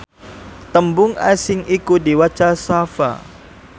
tembung asing iku diwaca safha